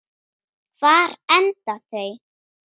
Hvar enda þau?